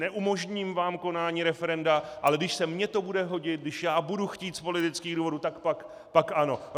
Neumožním vám konání referenda, ale když se mně to bude hodit, když já budu chtít z politických důvodů, tak pak ano.